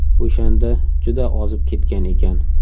O‘shanda juda ozib ketgan ekan.